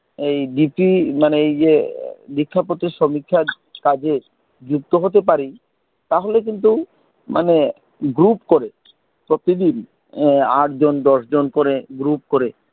এই dp মানে এই যে দীক্ষা পত্র সমীক্ষার কাজে যুক্ত হতে পারি, তাহলে কিন্তু মানে group করে, প্রতিদিন এর আট জন দশ জন করে group করে,